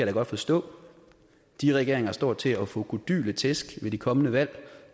da godt forstå de regeringer står til at få kodyle tæsk ved de kommende valg